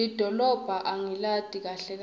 lidolobha angilati kahle kahle